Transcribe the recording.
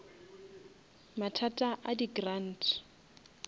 mathata a di grant